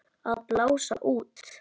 Að blása út.